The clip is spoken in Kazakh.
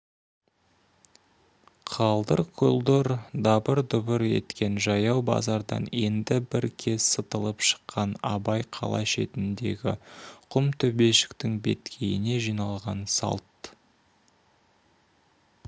қалдыр-құлдыр дабыр-дұбыр еткен жаяу базардан енді бір кез сытылып шыққан абай қала шетіндегі құм төбешіктің беткейіне жиналған салт